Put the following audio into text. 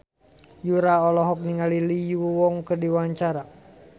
Yura olohok ningali Lee Yo Won keur diwawancara